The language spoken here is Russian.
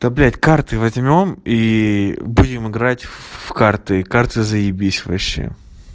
да блядь карты возьмём и будем играть в карты карты заебись вообще